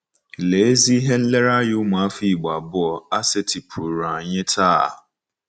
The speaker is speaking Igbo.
Lee ezi ihe nlereanya ụmụafọ Igbo abụọ a setịpụụrụ anyị taa!